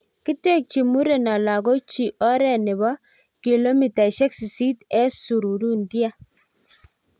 kitekji mureno lakok chii oree nebo kilumitaisik sisit eng sururundia